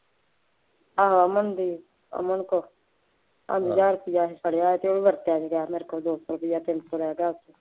ਆਹੋ ਅਮਨਦੀਪ ਅਮਨ ਕੋਲ ਪੰਜ ਹਜ਼ਾਰ ਰੁਪਇਆ ਫੜਿਆ ਅਤੇ ਉਹ ਵੀ ਵਰਤਿਆ ਨਹੀਂ ਗਿਆ ਮੇਰੇ ਕੋਲ, ਦੋ ਸੋ ਰੁਪਇਆ, ਤਿੰਨ ਸੌ ਰਹਿ ਗਿਆ